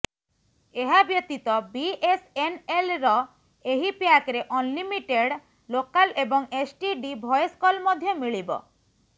ଏହା ବ୍ୟତୀତ ବିଏସଏନଏଲର ଏହି ପ୍ୟାକରେ ଅନଲିମିଟେଡ ଲୋକାଲ୍ ଏବଂ ଏସଟିଡି ଭଏସ୍ କଲ୍ ମଧ୍ୟ ମିଳିବ